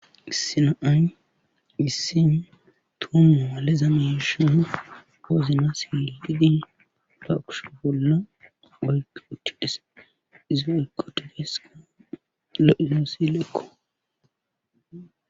Issi na'ay issin toommaaale zameshana koozina sididi laaqush bolla wayg uttidhese izaykko tegeeska leizoossilekko.